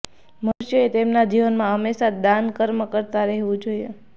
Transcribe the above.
મનુષ્યએ તેમના જીવનમાં હંમેશાં જ દાન કર્મ કરતાં રહેવું જોઇએ